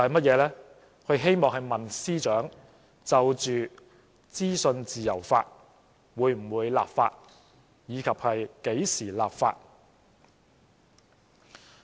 他希望問司長，就着資訊自由法，會否立法及何時立法。